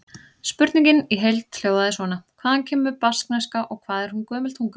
Spurningin í heild hljóðaði svona: Hvaðan kemur baskneska og hvað er hún gömul tunga?